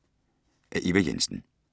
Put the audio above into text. Af Eva Jensen